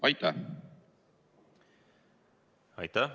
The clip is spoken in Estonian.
Aitäh!